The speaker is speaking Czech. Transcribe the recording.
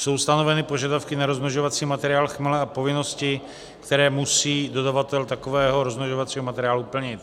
Jsou stanoveny požadavky na rozmnožovací materiál chmele a povinnosti, které musí dodavatel takového rozmnožovacího materiálu plnit.